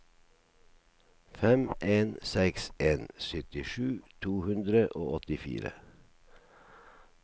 fem en seks en syttisju to hundre og åttifire